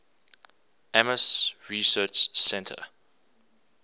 ames research center